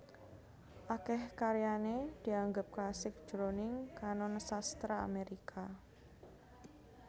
Akèh karyané dianggep klasik jroning kanon sastra Amérika